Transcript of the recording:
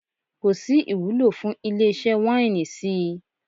Kò sí ìwúlò fún ilé-iṣẹ́ wáínì sí i.